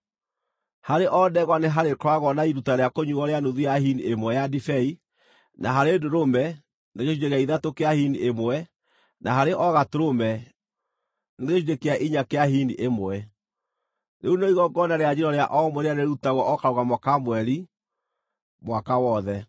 Harĩ o ndegwa nĩ harĩkoragwo na iruta rĩa kũnyuuo rĩa nuthu ya hini ĩmwe ya ndibei; na harĩ ndũrũme, nĩ gĩcunjĩ gĩa ithatũ kĩa hini ĩmwe; na harĩ o gatũrũme, nĩ gĩcunjĩ kĩa inya kĩa hini ĩmwe. Rĩu nĩrĩo igongona rĩa njino rĩa o mweri rĩrĩa rĩrĩrutagwo o karũgamo ka mweri, mwaka wothe.